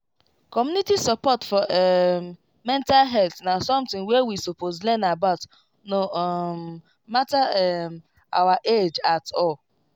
community support for um mental health na something wey we suppose learn about no um matter um our age at all